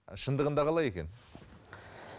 шындығында қалай екен